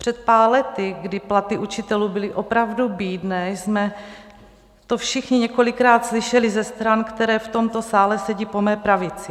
Před pár lety, kdy platy učitelů byly opravdu bídné, jsme to všichni několikrát slyšeli ze stran, které v tomto sále sedí po mé pravici.